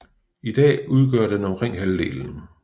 I dag udgør den omkring halvdelen